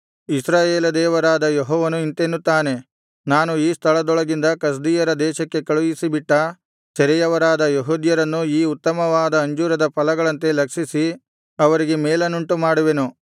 ಇಸ್ರಾಯೇಲ ದೇವರಾದ ಯೆಹೋವನು ಇಂತೆನ್ನುತ್ತಾನೆ ನಾನು ಈ ಸ್ಥಳದೊಳಗಿಂದ ಕಸ್ದೀಯರ ದೇಶಕ್ಕೆ ಕಳುಹಿಸಿಬಿಟ್ಟ ಸೆರೆಯವರಾದ ಯೆಹೂದ್ಯರನ್ನು ಈ ಉತ್ತಮವಾದ ಅಂಜೂರದ ಫಲಗಳಂತೆ ಲಕ್ಷಿಸಿ ಅವರಿಗೆ ಮೇಲನ್ನುಂಟುಮಾಡುವೆನು